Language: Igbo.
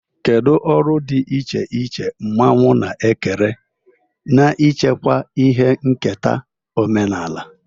Kedu ọrụ dị iche iche mmanwu na-ekere n'ichekwa ihe nketa omenala?